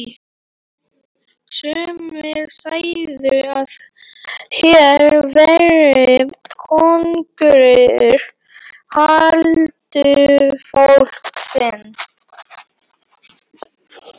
Sumir segðu að hér væri konungur huldufólksins.